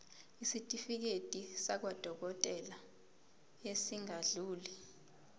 isitifiketi sakwadokodela esingadluli